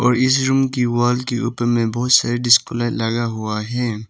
और इस रूम की वॉल के ऊपर में बहुत सारे डिस्को लाइट लगा हुआ है।